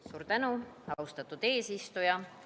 Suur tänu, austatud eesistuja!